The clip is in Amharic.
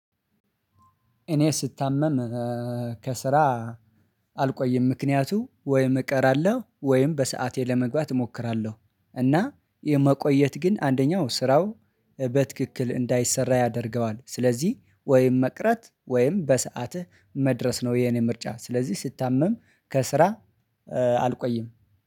እኔ ስታመም ከስራ አልቆይም ምክንያቱ ወይም እቀራለሁ ወይም በሰአቴ ለመግባት እሞክራለሁ እና የመቆየት ግን አንደኛው ስራው በትክክል እንዳይሰራ ያደርገዋል ስለዚህ ወይም መቅረት ወይም በሰአትህ መድረስ ነው። የኔ ምርጫ ስለዚህ ስታመም ከስራ አልቆይም።